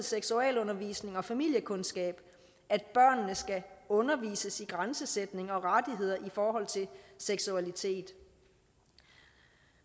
seksualundervisning og familiekundskab at børnene skal undervises i grænsesætning og rettigheder i forhold til seksualitet